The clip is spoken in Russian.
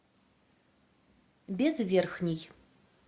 безверхний